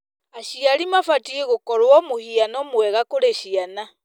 Aciari mabatiĩ gũkorwo mũhiano mwega kũrĩ ciana.